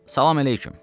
Salam əleyküm.